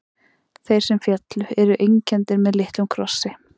Þeir sem féllu eru einkenndir með litlum krossi.